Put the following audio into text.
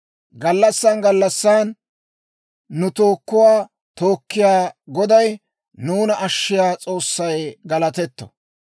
Gallassaan gallassaan nu tookuwaa tookkiyaa Goday, nuuna ashiyaa S'oossay galatetto.